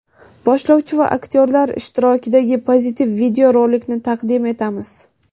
boshlovchi va aktyorlar ishtirokidagi pozitiv videorolikni taqdim etamiz!.